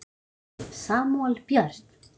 Barn Samúel Björn.